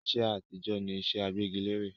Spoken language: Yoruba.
iṣẹ́ àtijọ́ ni iṣẹ́ agbẹ́gilẹ́re